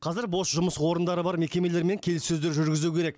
қазір бос жұмыс орындары бар мекемелермен келіссөздер жүргізу керек